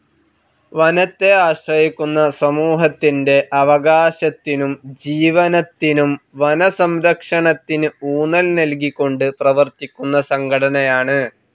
വനത്തെ ആശ്രയിക്കുന്ന സമൂഹത്തിന്റെ അവകാശത്തിനും ജീവനത്തിനും വനസംരക്ഷണത്തിന് ഊന്നൽ നൽകിക്കൊണ്ട് പ്രവർത്തിക്കുന്ന സംഘടനയാണ്.